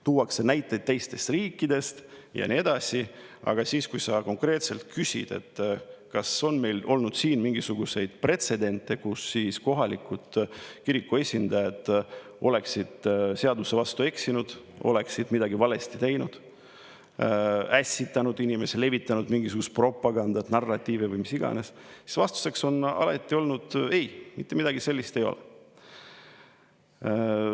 Tuuakse näiteid teistest riikidest ja nii edasi, aga kui sa konkreetselt küsid, kas meil on olnud pretsedente, et kohalikud kiriku esindajad oleksid seaduse vastu eksinud, oleksid midagi valesti teinud, ässitanud inimesi, levitanud mingisugust propagandat, narratiivi või mida iganes, siis vastuseks on alati olnud: "Ei, mitte midagi sellist ei ole olnud.